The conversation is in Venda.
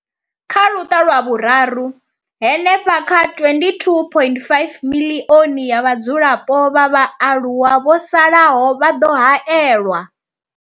Kha Luṱa lwa Vhuraru, hanefha kha 22.5 miḽioni ya vhadzulapo vha vhaaluwa vho salaho vha ḓo haelwa.